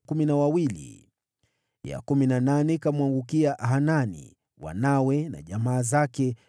ya kumi na nane ikamwangukia Hanani, wanawe na jamaa zake, 12